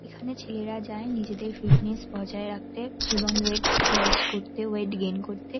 এখানে ছেলেরা যায় নিজেদের ফিটনেস বজায় রাখতে এবং ওয়েট লস করতে ওয়েট গেইন করতে।